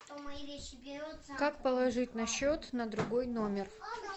как положить на счет на другой номер